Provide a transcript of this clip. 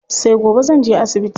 Sai gobe zanje asibiti.